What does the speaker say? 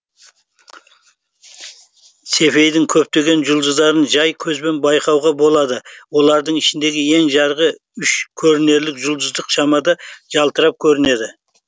цефейдің көптеген жұлдыздарын жай көзбен байқауға болады олардың ішіндегі ең жарығы үш көрінерлік жұлдыздық шамада жалтырап көрінеді